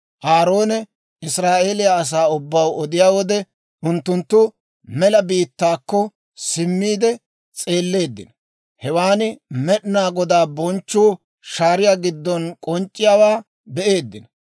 Aaroone Israa'eeliyaa asaa ubbaw odiyaa wode, unttunttu mela biittaakko simmiide s'eelleeddino; hewaan Med'inaa Godaa bonchchuu shaariyaa giddon k'onc'c'iyaawaa be'eeddino.